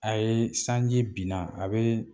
A ye sanji binna a be